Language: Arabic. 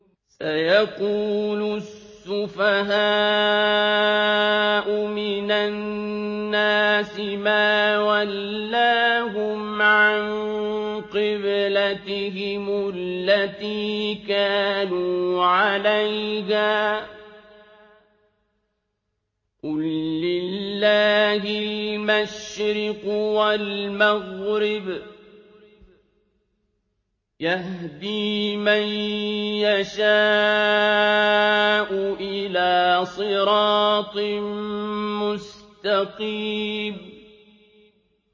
۞ سَيَقُولُ السُّفَهَاءُ مِنَ النَّاسِ مَا وَلَّاهُمْ عَن قِبْلَتِهِمُ الَّتِي كَانُوا عَلَيْهَا ۚ قُل لِّلَّهِ الْمَشْرِقُ وَالْمَغْرِبُ ۚ يَهْدِي مَن يَشَاءُ إِلَىٰ صِرَاطٍ مُّسْتَقِيمٍ